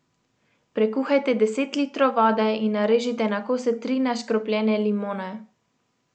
Prekuhajte deset litrov vode in narežite na kose tri neškropljene limone.